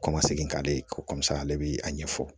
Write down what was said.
Kɔmasegin ka di ko ale bi a ɲɛfɔ